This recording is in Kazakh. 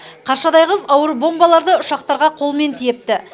қаршадай қыз ауыр бомбаларды ұшақтарға қолмен тиепті